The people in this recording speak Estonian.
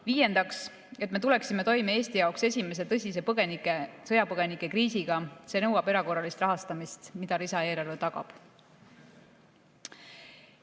Viiendaks, et me tuleksime toime Eesti jaoks esimese tõsise sõjapõgenikekriisiga – see nõuab erakorralist rahastamist, mida lisaeelarve tagab.